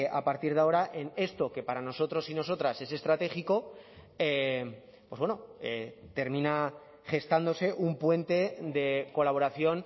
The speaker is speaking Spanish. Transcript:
a partir de ahora en esto que para nosotros y nosotras es estratégico pues bueno termina gestándose un puente de colaboración